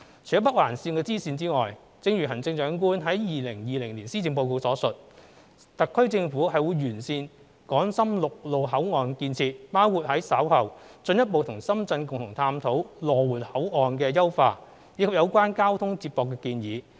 除了北環綫支綫外，正如行政長官在其2020年施政報告所述，特區政府會完善港深陸路口岸建設，包括於稍後進一步與深圳共同探討羅湖口岸的優化，以及有關交通接駁的建議。